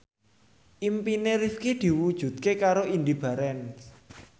impine Rifqi diwujudke karo Indy Barens